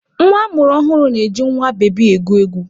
Nwa a mụrụ ọhụrụ na-eji nwa bebi egwu egwu.